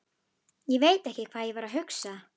Ég veit ekki hvað ég var að hugsa.